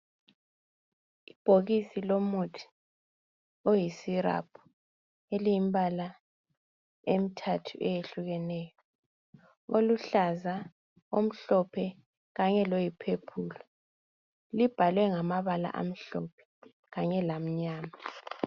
Ibhokisi lomuthi oyisiraphu eliyimbala emthathu eyehlukeneyo. Oluhlaza, omhlophe kanyeloyiphephulu. Libhalwe ngababala amhlophe kanye lamnyama.